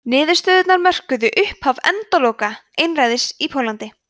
niðurstöðurnar mörkuðu upphaf endaloka einræðis í póllandi